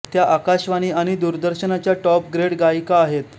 त्या आकाशवाणी आणि दूरदर्शनच्या टॉप ग्रेड गायिका आहेत